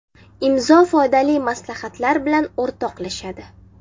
Imzo foydali maslahatlar bilan o‘rtoqlashadi.